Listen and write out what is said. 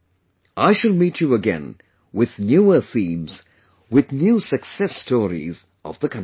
I shall meet you again, with newer themes, with new success stories of the countrymen